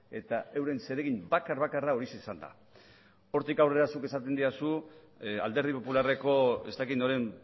eta euren zeregin bakar bakarra horixe izan da hortik aurrera zuk esaten didazu alderdi popularreko ez dakit noren